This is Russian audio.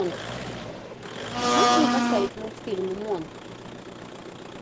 можешь мне поставить мультфильм монк